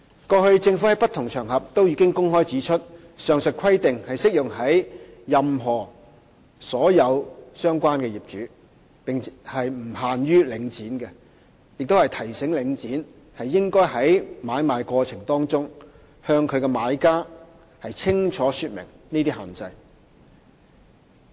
過去，政府在不同場合均已公開指出上述規定適用於所有相關業主，並不限於領展，亦曾提醒領展應在買賣過程中向買家清楚說明這些限制。